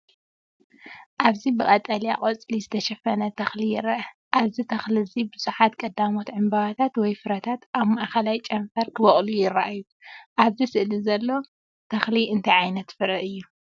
ኣብዚ ብቀጠልያ ቆጽሊ ዝተሸፈነ ተኽሊ ይርአ። ኣብዚ ተኽሊ እዚ ብዙሓት ቀዳሞት ዕምባባታት ወይ ፍረታት ኣብ ማእከላይ ጨንፈር ክበቁሉ ይረኣዩ። ኣብዚ ስእሊ ዘሎ ተኽሊ እንታይ ዓይነት ፍረ እዩ?